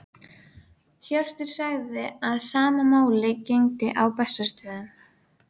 Þefur af viði og gufu blandaðist svitalyktinni af Indverjanum.